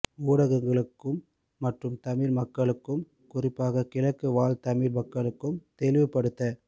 ஊடகங்களுக்கும் மற்றும் தமிழ் மக்களுக்கும் குறிப்பாக கிழக்கு வாழ் தமிழ் மக்களுக்கும் தெளிவு படுத்த